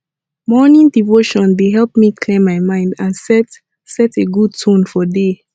morning devotion dey help me clear my mind and set set a good tone for day